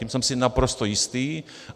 Tím jsem si naprosto jistý.